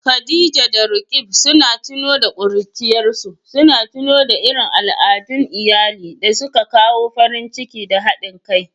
Khadija da Roqeeb suka tuno da ƙuruciyarsu, suna tuno irin al'adun iyali da suka kawo farin ciki da haɗin kai.